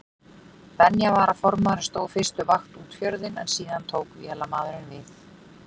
Venja var að formaðurinn stóð fyrstu vakt út fjörðinn en síðan tók vélamaðurinn við.